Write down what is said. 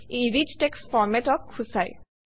ই rich text Format অক সূচায়